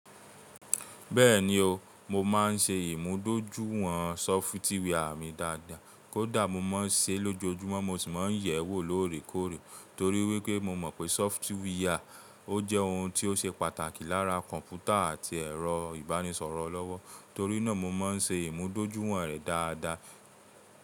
Bẹ́ẹ̀ni o, mo máa ń ṣe ìmúdójúìwọ̀n sọfitíwà mi dáadáa. Kódà mo máa ń ṣe é lójoojúmọ́ mo sì máa ń yẹ̀ ẹ́ wò lóòrèkóòrè torí wípé mo mọ̀ pé sọfitíwà ó jẹ́ ohun tí ó ṣe pàtàkì láàra kọ̀m̀pútà àti ẹ̀rọ ìbánisọ̀rọ̀ olọ́wọ́. Torí náà mo máa ń ṣe ìmúdójúìwọ̀n rẹ̀ dáadáa.